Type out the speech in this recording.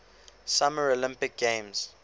summer olympic games